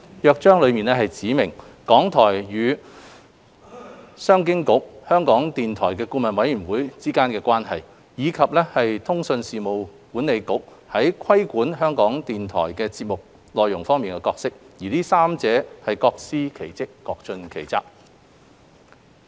《約章》指明港台與商務及經濟發展局、香港電台顧問委員會的關係，以及通訊事務管理局在規管港台節目內容方面的角色，這三者各司其職，各盡其責。